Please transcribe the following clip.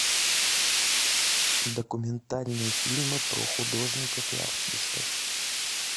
документальные фильмы про художников и артистов